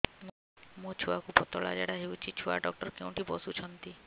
ମୋ ଛୁଆକୁ ପତଳା ଝାଡ଼ା ହେଉଛି ଛୁଆ ଡକ୍ଟର କେଉଁଠି ବସୁଛନ୍ତି